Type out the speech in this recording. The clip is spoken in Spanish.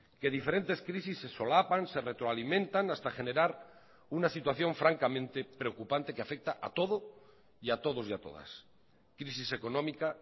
que diferentes crisis se solapan se retroalimentan hasta generar una situación francamente preocupante que afecta a todo y a todos y a todas crisis económica